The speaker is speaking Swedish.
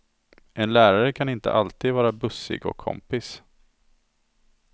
En lärare kan inte alltid vara bussig och kompis.